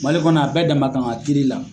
Mali kɔnɔ a bɛɛ dama kan ka kiiri la.